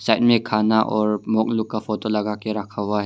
ऐ में खाना और मॉन्क लोग का फोटो लगा के रखा हुआ है।